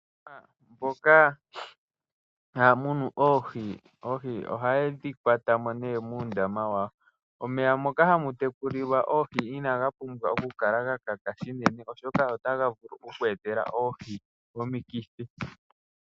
Aantu mboka taya munu oohi, oohi ohaye dhi kwata mo nee muundama wawo. Omeya moka hamu tekulilwa oohi inaga pumbwa oku kala ga kaka shinene, oshoka otaga vulu oku etela oohi omikithi.